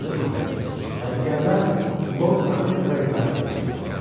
Deyə çığırmasaydı, əsgərlər Lord Protektora itaət edəcəkdilər.